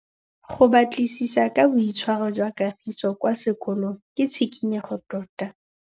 Go batlisisa ka boitshwaro jwa Kagiso kwa sekolong ke tshikinyêgô tota.